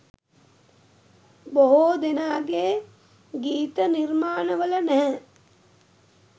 බොහෝ දෙනාගේ ගීත නිර්මාණ වල නැහැ.